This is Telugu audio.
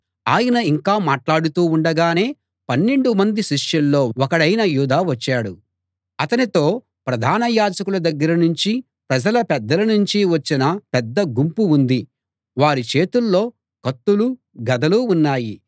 ఆయన ఇంకా మాట్లాడుతూ ఉండగానే పన్నెండు మంది శిష్యుల్లో ఒకడైన యూదా వచ్చాడు అతనితో ప్రధాన యాజకుల దగ్గర నుంచీ ప్రజల పెద్దల నుంచీ వచ్చిన పెద్ద గుంపు ఉంది వారి చేతుల్లో కత్తులు గదలు ఉన్నాయి